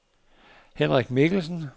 Henrik Mikkelsen